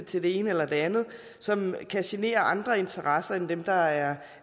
til det ene eller det andet som kan genere andre interesser end dem der er